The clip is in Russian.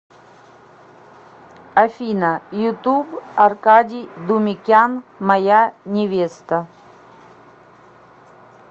афина ютуб аркадий думикян моя невеста